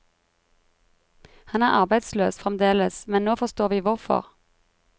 Han er arbeidsløs fremdeles, men nå forstår vi hvorfor.